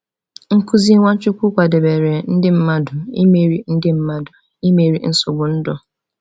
Nkuzi Nwachukwu kwadebere ndị mmadụ imeri ndị mmadụ imeri nsogbu ndụ.